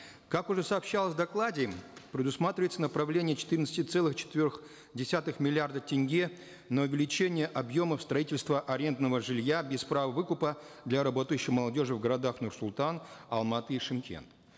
как уже сообщалось в докладе предусматривается направление четырнадцати целых четырех десятых миллиарда тенге на увеличение объемов строительства арендного жилья без права выкупа для работающей молодежи в городах нур султан алматы и шымкент